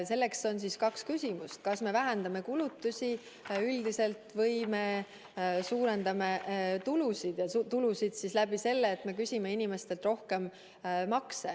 Selleks on kaks võimalust: kas me vähendame kulutusi või me suurendame tulusid läbi selle, et me küsime inimestelt rohkem makse.